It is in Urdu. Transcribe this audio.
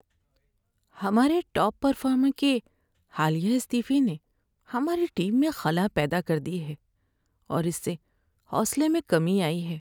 ہمارے ٹاپ پرفارمر کے حالیہ استعفے نے ہماری ٹیم میں خلا پیدا کر دی ہے اور اس سے حوصلے میں کمی آئی ہے۔